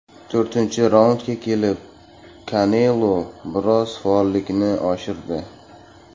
To‘rtinchi raundga kelib Kanelo biroz faollikni oshirdi.